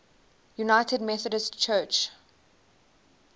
united methodist church